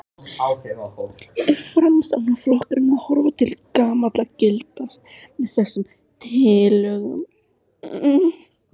Er Framsóknarflokkurinn að horfa til gamalla gilda með þessum tillögum?